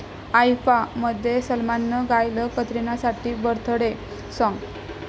आयफा'मध्ये सलमाननं गायलं कतरिनासाठी 'बर्थडे साँग'